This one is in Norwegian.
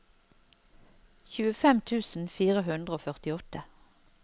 tjuefem tusen fire hundre og førtiåtte